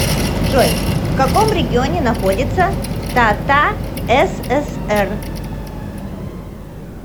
джой в каком регионе находится татасср